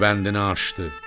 Rübəndini açdı.